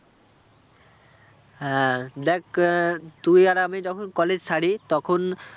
হ্যাঁ, দেখ আহ তুই আর আমি যখন college ছাড়ি তখন